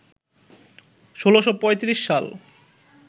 ১৬৩৫ সাল